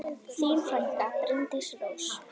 Þín frænka, Bryndís Rós.